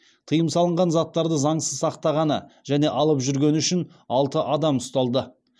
тыйым салынған заттарды заңсыз сақтағаны және алып жүргені үшін алты адам ұсталды